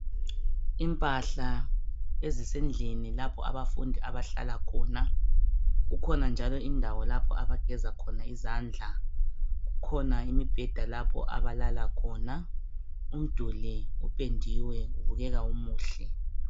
Impahla ezisendlini lapho abafundi abahlala khona kukhona njalo indawo lapho abageza khona izandla. Kukhona imibheda lapho abalala khona, umduli upendiwe ubukeka umuhle.